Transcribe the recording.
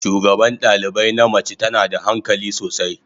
Shugaban dalibai na mace tana da hankali sosai.